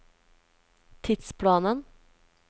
tidsplanen